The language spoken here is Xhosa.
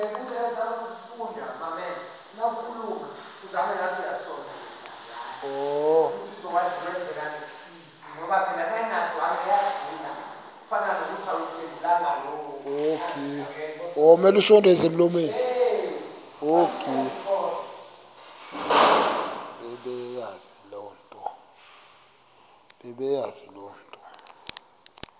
bebeyazi le nto